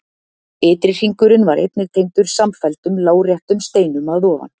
Ytri hringurinn var einnig tengdur samfelldum láréttum steinum að ofan.